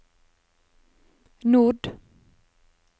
nord